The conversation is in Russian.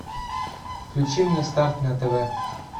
включи мне старт на тв